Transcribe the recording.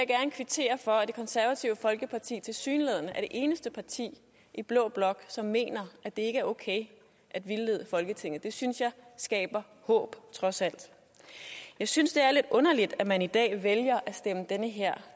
kvittere for at det konservative folkeparti tilsyneladende er det eneste parti i blå blok som mener at det ikke er okay at vildlede folketinget det synes jeg skaber håb trods alt jeg synes det er lidt underligt at man i dag vælger at stemme det her